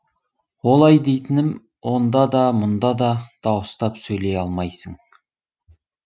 олай дейтінім онда да мұнда да дауыстап сөйлей алмайсың